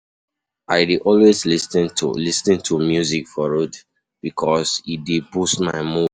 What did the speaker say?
I dey always lis ten to lis ten to music for road bikos e dey boost my mood.